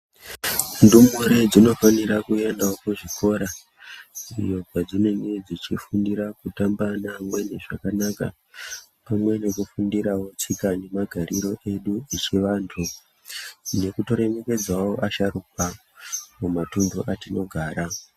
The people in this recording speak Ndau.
Ndumure dzinofanira kuendawo kuzvikora iyo kwedzinenge dzechifundira kutamba neamweni zvakanaka, pamwe nekufundirawo tsika nemagariro edu yechiantu nekutoremekedzawo asharuka kumatuntu atinogara.